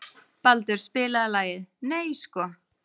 Baldur, spilaðu lagið „Nei sko“.